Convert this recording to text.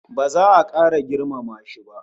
Ba za a kara girmama shi ba